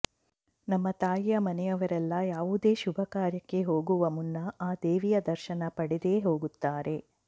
ನಮ್ಮ ತಾಯಿಯ ಮನೆಯವರೆಲ್ಲಾ ಯಾವುದೇ ಶುಭ ಕಾರ್ಯಕ್ಕೆ ಹೋಗುವ ಮುನ್ನ ಆ ದೇವಿಯ ದರ್ಶನ ಪಡೆದೇ ಹೋಗುತ್ತಾರೆ